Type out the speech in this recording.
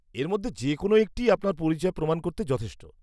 এর মধ্যে যে কোনো একটিই আপনার পরিচয় প্রমাণ করতে যথেষ্ট।